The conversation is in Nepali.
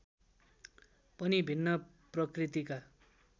पनि भिन्न प्रकृतिका